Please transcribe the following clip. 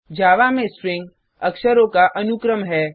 जावा में Stringअक्षरों का अनुक्रम है